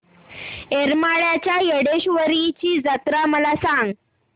येरमाळ्याच्या येडेश्वरीची जत्रा मला सांग